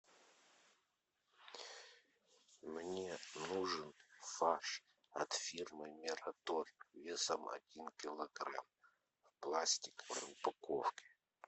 мне нужен фарш от фирмы мираторг весом один килограмм в пластиковой упаковке